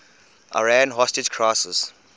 iran hostage crisis